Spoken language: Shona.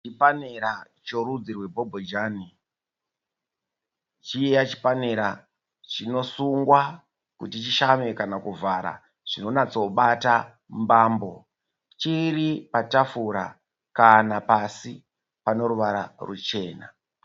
Chipanera cherudzi rwebhobhojani, chiya chipanera chinosungwa kuti chishame kana kuvhara zvinonatso bata mambo, chiripatafura kana pasi paneruvara rwuchena.